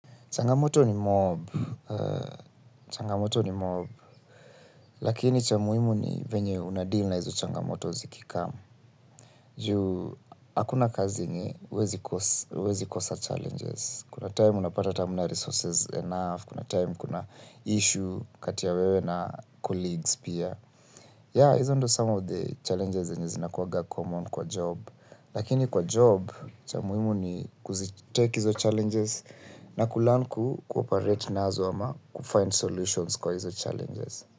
Changamoto ni mob, lakini cha muhimu ni venye unadeal na hizo changamoto ziki come. Juu, hakuna kazi yenye, huwezi kosa challenges. Kuna time unapata hata hamna resources enough, kuna time kuna issue kati ya wewe na colleagues pia. Ya, hizo ndo some of the challenges zenye zinakuaga common kwa job. Lakini kwa job cha muhimu ni kuzi take hizo challenges na kulearn ku operate nazo ama ku find solutions kwa hizo challenges.